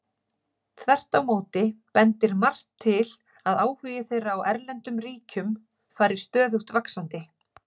Þvert á móti bendir margt til að áhugi þeirra á erlendum ríkjum fari stöðugt vaxandi.